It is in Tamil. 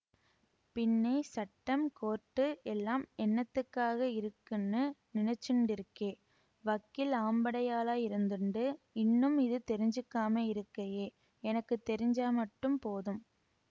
பின்னே சட்டம் கோர்ட்டு எல்லாம் என்னத்துக்காக இருக்குன்னு நினைச்சுண்டிருக்கே வக்கீல் ஆம்படையாளாயிருந்துண்டு இன்னும் இது தெரிஞ்சுக்காமே இருக்கயே எனக்கு தெரிஞ்ச மட்டும் போதும்